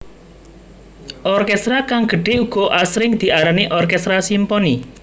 Orkestra kang gedhe uga asring diarani orkestra simponi